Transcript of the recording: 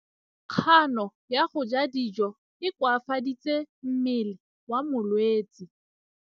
Kganô ya go ja dijo e koafaditse mmele wa molwetse.